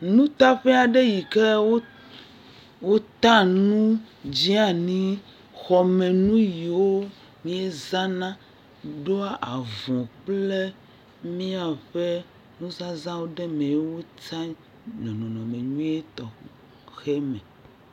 Nutaƒe aɖe yi ke wo, wotaa nu dzaani, xɔmenu yiwo míezãna ɖoa avɔ kple míaƒe nuzazãwo ɖe me ye wotsã nɔ nɔnɔme nyuietɔ tɔxɛ me.